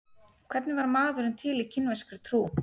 Hvernig varð maðurinn til í kínverskri trú?